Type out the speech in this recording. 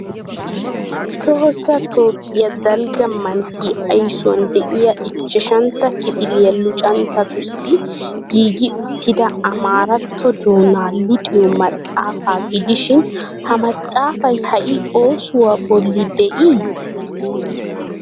Tohossa Toophphiya dalgga manttiya aysuwan de'iya ichchashantta kifiliya luxanchchatussi giigi uttida amaaratto doonaa luxiyo maxaafaa gidishin ha maxaafay ha"i oosuwa bolli de'ii?